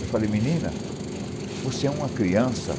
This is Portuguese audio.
Eu falei, menina, você é uma criança.